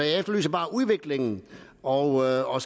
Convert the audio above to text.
jeg efterlyser bare udvikling og og